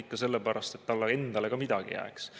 Ikka sellepärast, et talle endale ka midagi jääks.